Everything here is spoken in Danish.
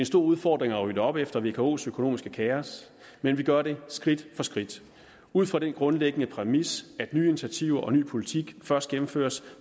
stor udfordring at rydde op efter vkos økonomiske kaos men vi gør det skridt for skridt ud fra den grundlæggende præmis at nye initiativer og ny politik først gennemføres